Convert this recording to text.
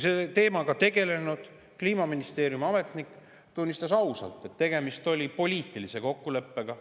Selle teemaga tegelenud Kliimaministeeriumi ametnik tunnistas ausalt, et tegemist oli poliitilise kokkuleppega.